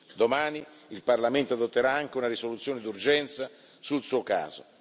Domani il Parlamento adotterà anche una risoluzione d'urgenza sul suo caso.